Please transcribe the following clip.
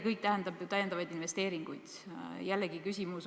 Siit tuleb välja ka tegelikult see teie küsimus.